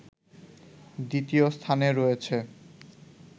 দ্বিতীয় স্থানে রয়েছে